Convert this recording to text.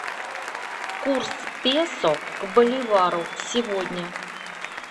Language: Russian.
курс песо к боливару сегодня